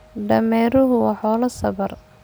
Dameeruhu waa xoolo sabar.